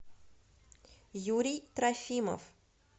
юрий трофимов